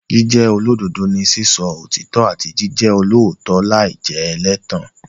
Jíjẹ́ olódodo ni sísọ òtítọ́ àti jíjẹ olóòótọ́ láì jẹ́ ẹlẹ́tàn.